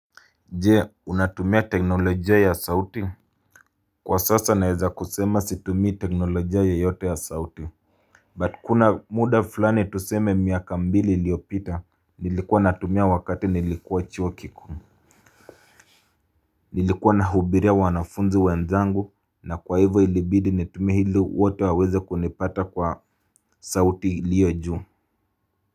Je unatumia teknolojia ya sauti Kwa sasa naeza kusema situmii teknolojia yoyote ya sauti But kuna muda fulani tuseme miaka mbili iliyopita nilikuwa natumia wakati nilikuwa chuo kikuu Nilikuwa nahubiria wanafunzi wenzangu na kwa hivo ilibidi nitumie ili wote waweze kunipata kwa sauti iliyo juu.